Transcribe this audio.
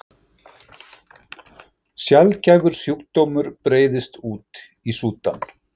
Sjaldgæfur sjúkdómur breiðist út í Súdan